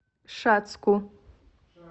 шацку